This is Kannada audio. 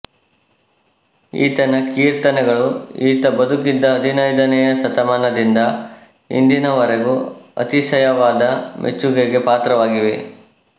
ಈತನ ಕೀರ್ತನೆಗಳು ಈತ ಬದುಕಿದ್ದ ಹದಿನೈದನೆಯ ಶತಮಾನದಿಂದ ಇಂದಿನವರೆಗೂ ಅತಿಶಯವಾದ ಮೆಚ್ಚುಗೆಗೆ ಪಾತ್ರವಾಗಿವೆ